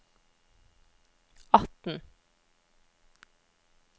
atten